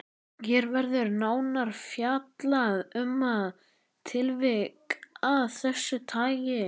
Hér verður nánar fjallað um það tilvik af þessu tagi.